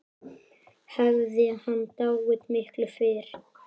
Hafði hann dáið miklu fyrr?